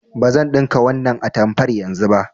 Bazan ɗinka wannan atamfar yanzu ba.